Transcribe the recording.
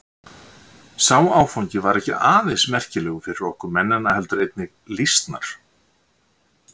Sá áfangi var ekki aðeins merkilegur fyrir okkur mennina heldur einnig lýsnar.